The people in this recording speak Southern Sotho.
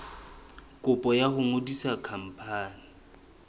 kopo ya ho ngodisa khampani